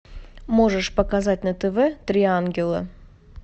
можешь показать на тв три ангела